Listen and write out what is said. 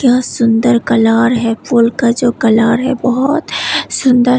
यह सुंदर कलर है फूलों का जो कलर है बहुत सुंदर है।